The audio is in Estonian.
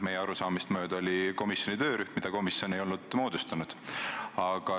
Meie arusaamist mööda oli see komisjoni töörühm, mida komisjon ei olnud moodustanud.